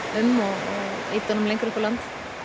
um og ýta honum lengra upp á land